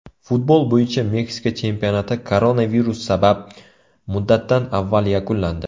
Futbol bo‘yicha Meksika chempionati koronavirus sabab muddatidan avval yakunlandi.